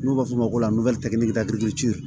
N'u b'a f'o ma ko